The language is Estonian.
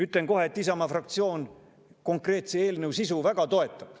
Ütlen kohe, et Isamaa fraktsioon konkreetse eelnõu sisu väga toetab.